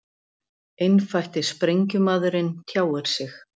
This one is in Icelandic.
Einfætti sprengjumaðurinn tjáir sig